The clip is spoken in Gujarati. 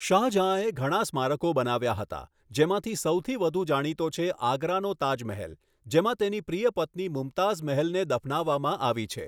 શાહ જહાંએ ઘણા સ્મારકો બનાવ્યા હતા, જેમાંથી સૌથી વધુ જાણીતો છે આગ્રાનો તાજ મહેલ, જેમાં તેની પ્રિય પત્ની મુમતાઝ મહેલને દફનાવવામાં આવી છે.